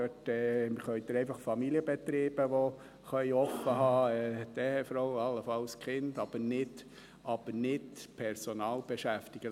Dort sind es einfach Familienbetriebe, die offen haben können – die Ehefrau, allenfalls die Kinder –, aber man darf nicht Personal beschäftigen.